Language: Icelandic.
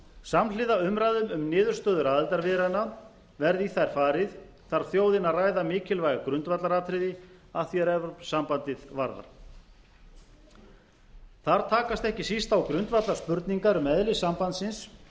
samhliða umræðum um niðurstöður aðildarviðræðna verði í þær farið þarf þjóðin að ræða mikilvæg grundvallaratriði að því er evrópusambandið varðar þar takast ekki síst á grundvallarspurningar um eðli sambandsins